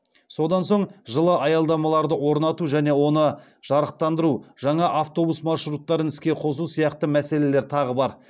содан соң жылы аялдамаларды орнату және оны жарықтандыру жаңа автобус маршруттарын іске қосу сияқты мәселелер тағы бар